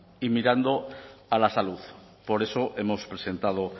y mirando a la salud por eso hemos presentado